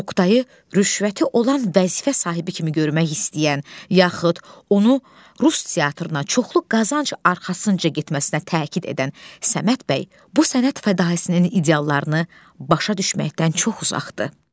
Oktayı rüşvəti olan vəzifə sahibi kimi görmək istəyən, yaxud onu rus teatrına çoxlu qazanc arxasınca getməsinə təkid edən Səməd bəy bu sənət fədaisinin ideallarını başa düşməkdən çox uzaqdır.